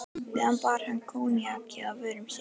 meðan bar hann koníakið að vörum sér.